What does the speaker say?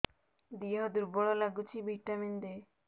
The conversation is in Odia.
ଦିହ ଦୁର୍ବଳ ଲାଗୁଛି ଭିଟାମିନ ଦେ